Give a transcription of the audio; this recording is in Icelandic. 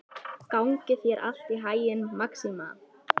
Gangi þér allt í haginn, Maxima.